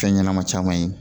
Fɛn ɲɛnɛma caman ye